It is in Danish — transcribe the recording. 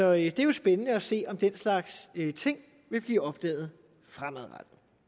er jo spændende at se om den slags ting vil blive opdaget fremadrettet